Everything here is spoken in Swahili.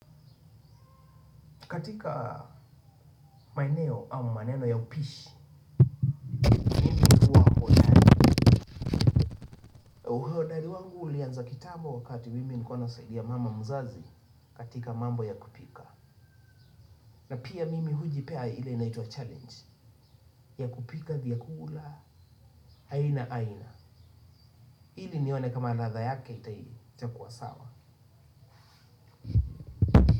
Katika maeneo au maneno ya upishi uhodari wangu ulianza kitambo wakati mimi nilikuwa nasaidia mama mzazi katika mambo ya kupika na pia mimi hujipea ile inaitwa challenge ya kupika vyakula aina aina ili nione kama ladha yake itakuwa sawa.